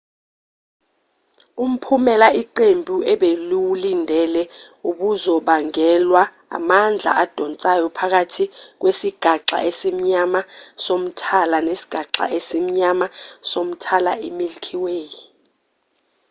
umphumela iqembu ebeliwulindele ubuzobangelwa amandla adonsayo phakathi kwesigaxa esimnyama somthala nesigaxa esimnyama somthala i-milky way